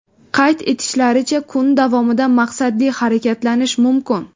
Qayd etishlaricha, kun davomida maqsadli harakatlanish mumkin.